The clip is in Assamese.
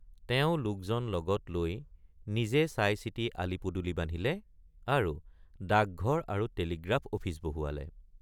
তেওঁ লোকজন লগত লৈ নিজে চাইচিতি আলিপদূলি বান্ধিলে আৰু ডাকঘৰ আৰু টেলিগ্ৰাফ অফিচ বহুৱালে।